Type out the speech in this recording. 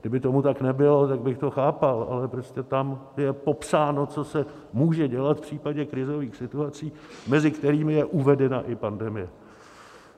Kdyby tomu tak nebylo, tak bych to chápal, ale prostě tam je popsáno, co se může dělat v případě krizových situací, mezi kterými je uvedena i pandemie.